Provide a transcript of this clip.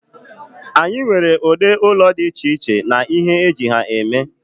anyị nwere ụdị ụlọ dị iche iche na ihe eji ha eme